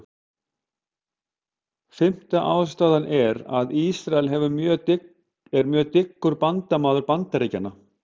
Fimmta ástæðan er, að Ísrael hefur verið mjög dyggur bandamaður Bandaríkjanna.